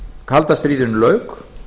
kalda stríðinu lauk